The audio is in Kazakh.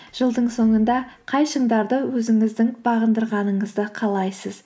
жылдың соңында қай шыңдарды өзіңіздің бағындырғаныңызды қалайсыз